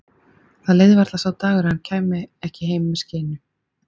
Það leið varla sá dagur að hann kæmi ekki heim með skeinu.